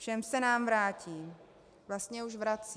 Všem se nám vrátí, vlastně už vrací.